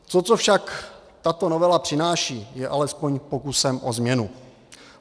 To, co však tato novela přináší, je alespoň pokusem o změnu.